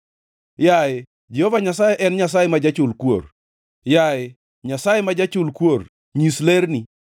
Yaye Jehova Nyasaye en Nyasaye ma jachul kuor, yaye Nyasaye ma jachul kuor, nyis lerni.